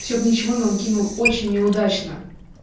все бы ничего но он кинул очень неудачно